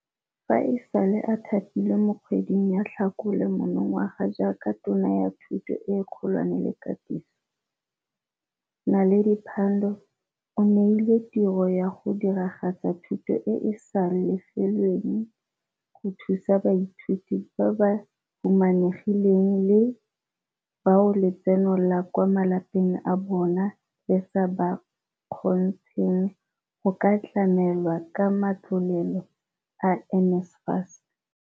Fa e sale a thapilwe mo kgweding ya Tlhakole monongwaga jaaka Tona ya Thuto e Kgolwane le Katiso, Naledi Pandor o neilwe tiro ya go diragatsa thuto e e sa lefelelweng go thusa baithuti ba ba humanegileng le bao letseno la kwa malapeng a bo bona le sa ba kgontsheng go ka tlamelwa ka matlole a NSFAS.